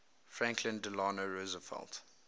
franklin delano roosevelt